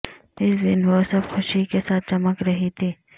اس دن وہ سب خوشی کے ساتھ چمک رہی تھی